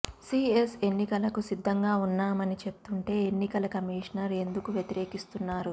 CS ఎన్నికలకు సిద్ధంగా ఉన్నామని చెప్తుంటే ఎన్నికల కమిషనర్ ఎందుకు వ్యతిరేకిస్తున్నారు